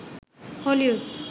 Hollywood